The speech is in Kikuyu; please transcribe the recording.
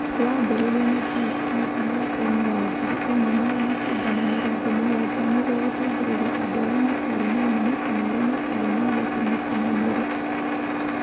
Wambiriirio nĩ John Smith mĩaka-inĩ ya ngiri ĩmwe magana kenda ma mĩrongo mũgwanja [1970] nĩguo gũteithiriria andũ arĩa matarĩ na ũmenyo kana arĩa matarĩ na ũhoti mũkinyanĩru.